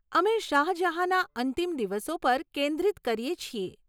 અમે શાહ જહાંના અંતિમ દિવસો પર કેન્દ્રિત કરીએ છીએ.